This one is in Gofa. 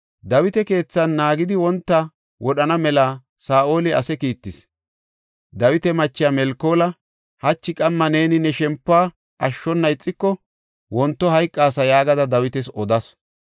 Dawita keethan naagidi wonta wodhana mela Saa7oli ase kiittis. Dawita machiya Melkoola, “Hachi qamma neeni ne shempuwa ashshona ixiko, wonto hayqaasa” yaagada Dawitas odasu.